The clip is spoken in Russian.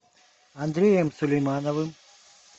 андреем сулеймановым